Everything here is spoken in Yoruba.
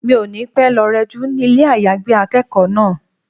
Mi ò ní pẹ́ lọ rẹ jú ní ilé àyágbé akẹ́kọ̀ọ́ náà.